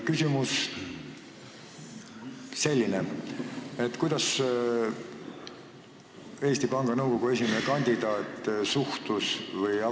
Küsimus on selline: kuidas suhtub Eesti Panga Nõukogu esimehe kandidaat VEB Fondi saagasse?